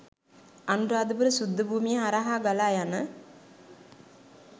අනුරාධපුර ශුද්ධ භූමිය හරහා ගලායන